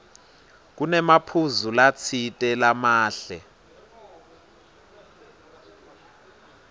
kunemaphuzu latsite lamahle